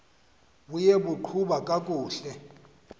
buye baqhuba kakuhle